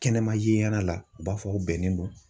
Kɛnɛma ye ɲɛn'a la u b'a fɔ u bɛnnen don